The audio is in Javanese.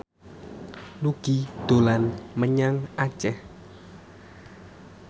Nugie dolan menyang Aceh